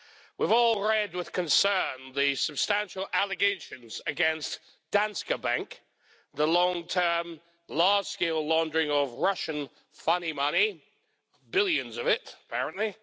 We've all read with concern the substantial allegations against Danske Bank the long term, large-scale laundering of Russian funny money billions of it, apparently.